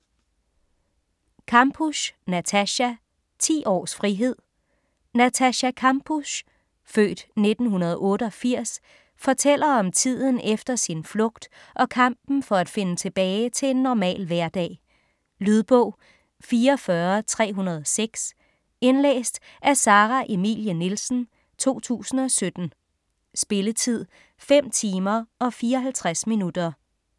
Kampusch, Natascha: Ti års frihed Natascha Kampusch (f. 1988) fortæller om tiden efter sin flugt og kampen for at finde tilbage til en normal hverdag. Lydbog 44306 Indlæst af Sara Emilie Nielsen, 2017. Spilletid: 5 timer, 54 minutter.